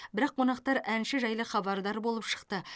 бірақ қонақтар әнші жайлы хабардар болып шықты